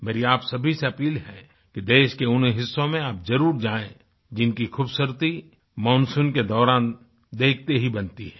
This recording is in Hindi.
मेरी आप सभी से अपील है कि देश के उन हिस्सों में आप जरुर जाएं जिनकी खूबसूरती मानसून के दौरान देखते ही बनती है